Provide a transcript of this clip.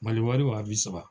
Mali wari wa bi saba.